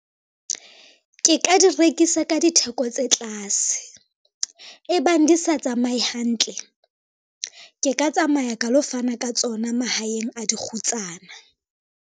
Ke ka di rekisa ka ditheko tse tlase, ebang di sa tsamaye hantle, ke ka tsamaya ka lo fana ka tsona mahaeng a dikgutsana.